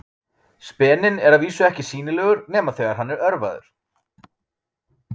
Speninn er að vísu ekki sýnilegur nema þegar hann er örvaður.